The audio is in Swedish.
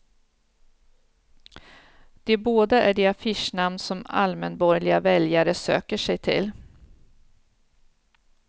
De båda är de affischnamn som allmänborgerliga väljare söker sig till.